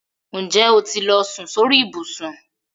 Ǹjẹ́ ó ti lọ sùn sórí ìbùsùn?